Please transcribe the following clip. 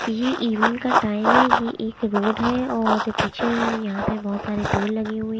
ये इवनिंग का टाइम है ये एक रोड है और पीछे यहाँ पे बहोत सारे पेड़ लगे हुए--